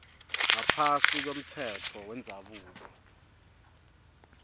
ngaphasi kwemtsetfo wendzabuko